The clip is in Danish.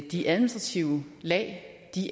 de administrative lag